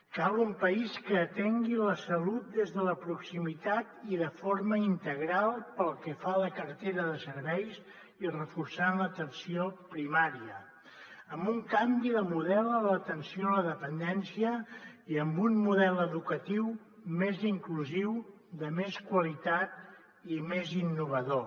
cal un país que atengui la salut des de la proximitat i de forma integral pel que fa a la cartera de serveis i reforçant l’atenció primària amb un canvi de model en l’atenció a la dependència i amb un model educatiu més inclusiu de més qualitat i més innovador